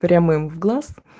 прям в глаз